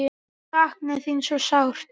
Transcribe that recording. Sakna þín svo sárt.